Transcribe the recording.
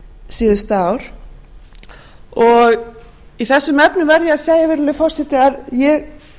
verið síðustu ár í þessum efnum verð ég að segja virðulegi forseti að ég